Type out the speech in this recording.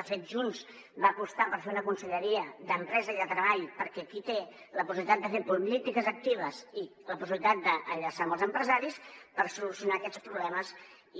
de fet junts va apostar per fer una conselleria d’empresa i de treball perquè és qui té la possibilitat de fer polítiques actives i la possibilitat d’enllaçar amb els empresaris per solucionar aquests problemes